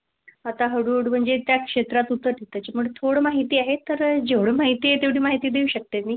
आता हळूहळू म्हणजे त्याच क्षेत्रात उतरत होते त्याच्यामुळे थोडं माहिती आहे. तर जेवढं माहिती आहे तेवढी माहिती देऊ शकते मी.